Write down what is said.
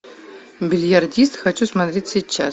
бильярдист хочу смотреть сейчас